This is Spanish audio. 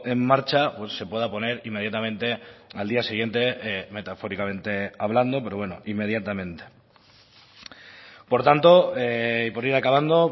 en marcha se pueda poner inmediatamente al día siguiente metafóricamente hablando pero bueno inmediatamente por tanto y por ir acabando